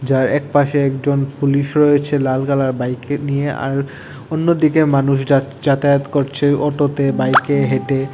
যার একপাশে একজন পুলিশ রয়েছে লাল কালার বাইকে নিয়ে আর অন্যদিকে মানুষ যাচ যাতায়াত করছে অটোতে বাইকে হেঁটে।